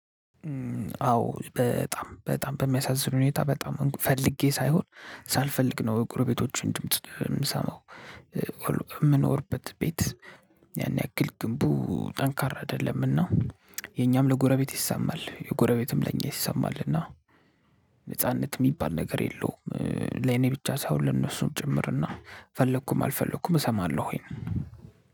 አዎ በጣም በጣም በሚያሳዝን ሁኔታ በጣም ፈልጌ ሳይሆን ሳልፈልግ ነው ጎረቤቶቼን ድምጽ የምሰማው። የምንኖርበት ቤት ያን ያክል ግንቡ ጠንካራ አይደለምና የኛም ለጎረቤት ይሰማል የጎረቤትም ለኛ ይሰማልና። ነጻነት የሚባል ነገር የለውም። ለኔ ብቻ ሳይሆን ለነሱም ጭምርና ፈለኩም አልፈለኩም እሰማለሁ ወይንም